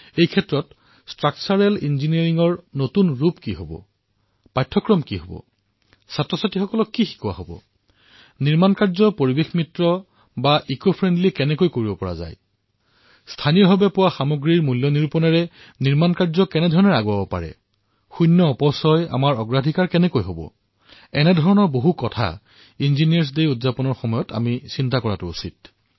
এনে স্থলত গঠনাত্মক ইঞ্জিনীয়াৰিঙৰ নতুন ৰূপ কি হব তাৰ পাঠক্ৰম কি হব শিক্ষাৰ্থীক কি শিকোৱা যাব নিৰ্মাণৰ কাম পৰিৱেশ অনুকূল্য কিদৰে হব স্থানীয় সামগ্ৰীৰ মূল্য সংযোজিত কৰি নিৰ্মাণৰ কামত কিদৰে ব্যৱহাৰ কৰা হব শূন্য বৰ্জ্য আমাৰ প্ৰাথমিকতা কিদৰে হব এনেকুৱা অনেক কথা যেতিয়া ইঞ্জিনীয়াৰিং দিৱস পালন কৰা হয় তেতিয়া চিন্তা কৰিব লাগে